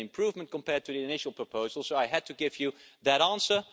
It is an improvement compared with the initial proposal, so I had to give you that answer.